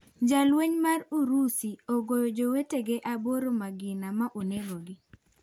Lalueny mar Urusi agoyo jowetege aboro magina ma onego gi.